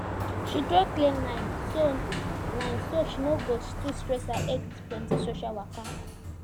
she draw clear line so line so she no go too stress her head with plenty social waka